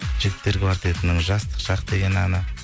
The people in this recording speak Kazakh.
жігіттер квартетінің жастық шақ деген әні